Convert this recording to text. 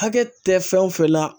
Hakɛ tɛ fɛn o fɛn la